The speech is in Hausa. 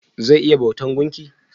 Zai iya bautan gumki?